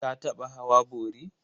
Ka taɓa hawa bori?